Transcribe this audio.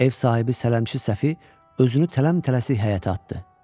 Ev sahibi sələmçi Səfi özünü tələm-tələsik həyətə atdı.